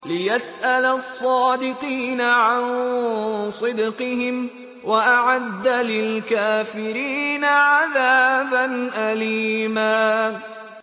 لِّيَسْأَلَ الصَّادِقِينَ عَن صِدْقِهِمْ ۚ وَأَعَدَّ لِلْكَافِرِينَ عَذَابًا أَلِيمًا